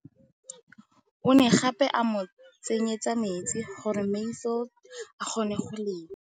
O ne gape a mo tsenyetsa metsi gore Mansfield a kgone go lema.